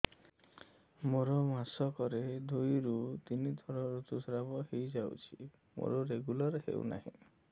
ମୋର ମାସ କ ରେ ଦୁଇ ରୁ ତିନି ଥର ଋତୁଶ୍ରାବ ହେଇଯାଉଛି ମୋର ରେଗୁଲାର ହେଉନାହିଁ